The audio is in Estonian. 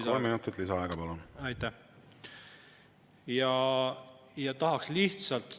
Siin on täna juba mitu korda räägitud sellest eelnõust tervikuna, kuidas see siia jõudnud on.